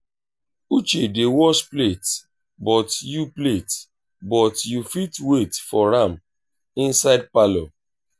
uche dey wash plate but you plate but you fit wait for am inside parlour